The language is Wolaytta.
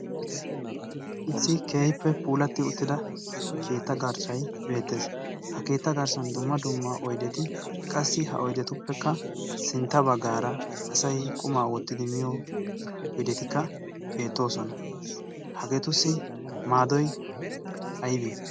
Issi keehippe puulati uttida keetta garssay beettees. Ha keetta garssan dumma dumma oyddeti qassi ha oyddetuppekka sintta baggaara asay qumaa wottidi miyo oyddetikka beettoosona. Hageetussi maaddoy aybbe?